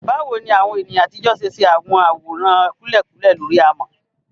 Báwo ni àwọn ènìyàn àtijọ́ ṣe ṣe àwọn àwòrán kúlẹ̀kúlẹ̀ lórí amọ̀?